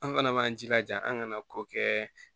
An fana b'an jilaja an kana kɔ kɛ